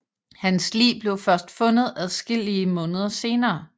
Hans lig blev først fundet adskillige måneder senere